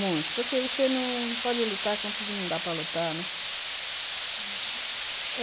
Muito, porque você não pode lutar contra o que não dá para lutar, né? Uhum...